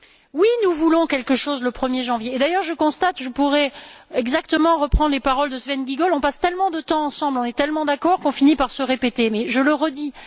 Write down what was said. Oui, nous voulons quelque chose le 1er janvier et, d'ailleurs, je constate que je pourrais exactement reprendre les paroles de Sven Giegold on passe tellement de temps ensemble, on est tellement d'accord qu'on finit par se répéter, mais je le redis.